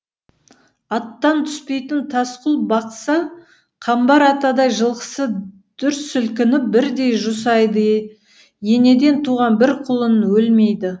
аттан түспейтін тасқұл бақса қамбар атадай жылқысы дүр сілкініп бірдей жусайды енеден туған бір құлын өлмейді